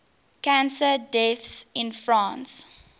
cancer deaths in france